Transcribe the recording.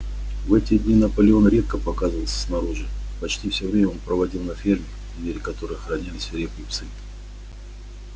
в эти дни наполеон редко показывался снаружи почти всё время он проводил на ферме двери которой охраняли свирепые псы